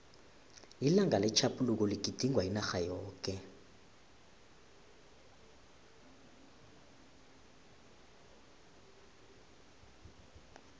ilanga letjhaphuluko ligidingwa inarha yoke